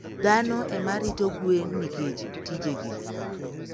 Dhano ema rito gwen nikech tijegi.